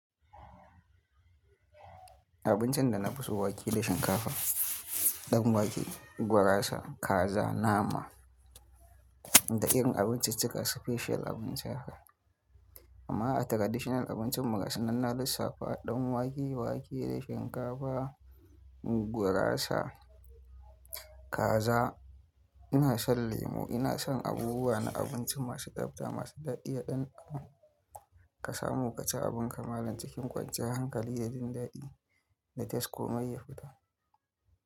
Abincin da na fi so wake da shinkafa, dan wake, gurasa, kaza, nama da irin abinciccika special abin sha. Amma a traditional abincin ma gasunan na safa, dan wake, wake da shinkafa, gurasa, kaza. Ina son lemo, ina son abubuwa na abinci masu tsabta, masu daɗi, yaɗan abu ka samu ka ci abin ka malal cikin kwanciya hankali da jin daɗi da tasko mai yafuta.